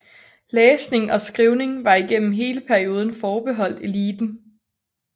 Læsning og skrivning var gennem hele perioden forbeholdt eliten